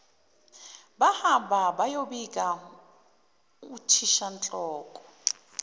bahamba bayobikela uthishanhloko